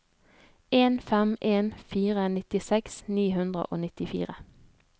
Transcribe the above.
en fem en fire nittiseks ni hundre og nittifire